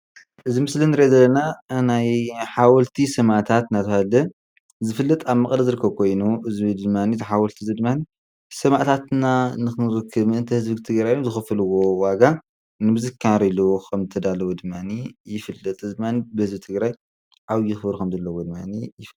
እዚ ምስሊ እንርኦ ዘለና ናይ ሓደ ሓወልቲ ሰማእታት እናተባህለ ዝፍለጥ ኮይኑ አብ መቀለ ኮይኑ እዚ ድማሓወልቲ ሰማእታትና ንክንዝክር ምእንተ ህዝቢ ትግራይ ዝከፈልው ዋጋ ንምዝካር ኢሉ ከም ዝተዳልወ ድማእኒ ይፍለጥ፡፡ እዚ ድማኒ ብህዝቢ ትግራይ ድማኒ ዓብይ ክብሪ ከም ዘለዎ ድማኒ ይፍለጥ።